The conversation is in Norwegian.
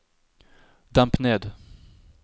demp ned